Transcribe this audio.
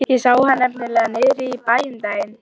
Ég sá hann nefnilega niðri í bæ um daginn.